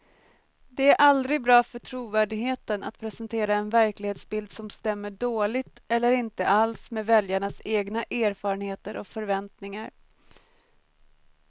Det är aldrig bra för trovärdigheten att presentera en verklighetsbild som stämmer dåligt eller inte alls med väljarnas egna erfarenheter och förväntningar.